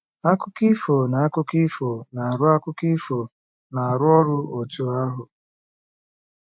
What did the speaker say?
Akụkọ ifo na akụkọ ifo na-arụ akụkọ ifo na-arụ ọrụ otu ahụ?